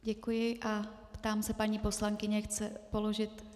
Děkuji a ptám se paní poslankyně, chce položit...